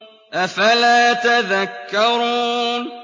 أَفَلَا تَذَكَّرُونَ